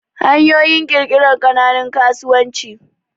hanyoyin kirkirar kananun kasuwanci